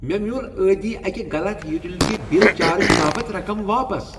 مےٚ میول ٲدی اکہ غلط یوٹیلیٹی بل چارج باپت رقم واپس۔